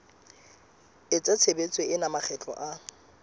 pheta tshebetso ena makgetlo a